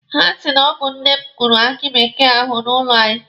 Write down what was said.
Ha si na ọ bụ nne m kụrụ aki bekee ahụ n'ụlọ anyị.